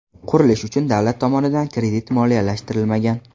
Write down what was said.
Qurilish uchun davlat tomonidan kredit moliyalashtirilmagan.